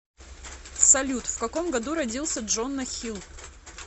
салют в каком году родился джона хилл